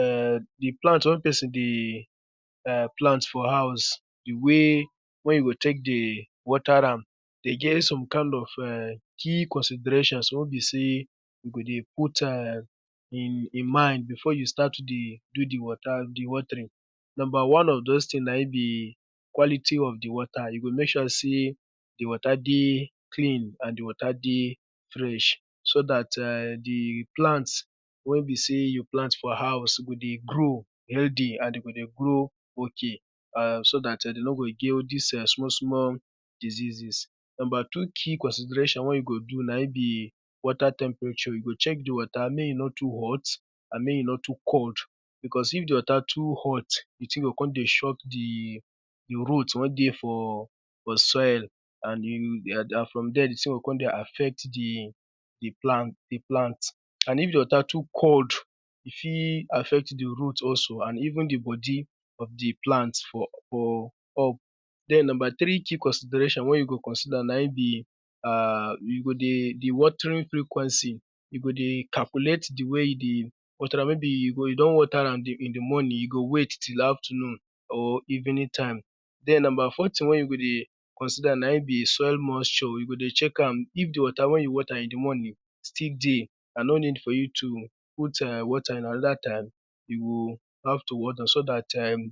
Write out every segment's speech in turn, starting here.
Ehn di plant wey pesin dey plant for house wey, wey e go tek dey water am dey get some kind of key considerations wey be sey we go dey put am in mind before we start dey do d water di watering, number one na di quality of di water. You go mek sure sey di water dey clean and di water dey fresh so dat[um]di plant wen be sey you plant for house go dey grow healthy and e go dey grow ok and so dat[um]de no go get dis[um]small small diseases. Number two key consideration na di water temperature. You go chek di water mek e no too hot, and mek e no too cold because if di water too hot, di thing o kon dey shot di root wen dey fr inside and from there di thing o kon dey affect di plant. And if di water too cold, e fit affect di root also and even di bodi of di plant. So number three key consideration wey you go consider na in be we go dey di watering frequency, we go dey calculate di way we dey wat ram if you don water am in di morning, you go wait till afternoon or evening time den about four thing wey you go dey consider in be soil moisture show you go dey check am if di water wen you water in di morning still dey and no need for you to put water and anoda time you go have to water do st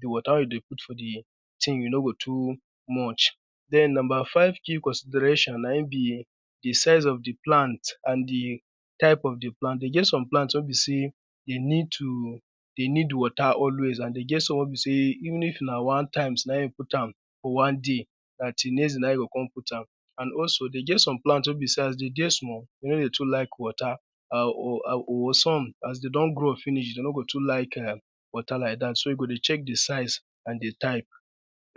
di water wey you dey put for di thing e no go too much. Den number five key consideration na in be di sense of di plant and di type of di plant. E get some plant wey be sey e ned to e need water always and e get some wey be sey een if na one time na in you put am one way, na till next day you o kon put am water. And e get some plant wey be sey as den dey small, dey no dey too like water but some as de don grow finish, de no go too like water like dat so you go dey check di type and di size.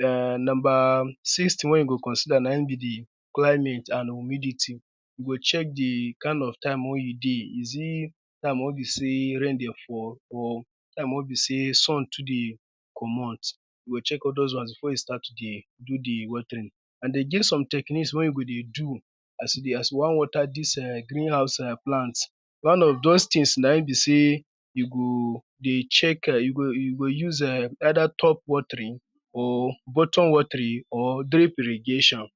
So number six thing wey you go consider na in be di climate and humidity. You go check di time wey you dey is it time wey be sey rain dey fall, or time wey be sey su too dey commot you go check all those ones before you start to dey do di watering. And den e get some techniques wen you go dey do as you won water those[um]green house plant. One of those things na in be sey you go dey check eh you go use[um]either top watering, or buttom watering or day prediction.